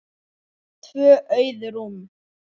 Tvö auð rúm.